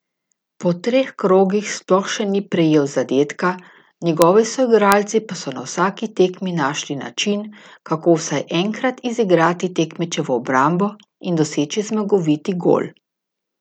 Po treh krogih sploh še ni prejel zadetka, njegovi soigralci pa so na vsaki tekmi našli način, kako vsaj enkrat izigrati tekmečevo obrambo in doseči zmagoviti gol.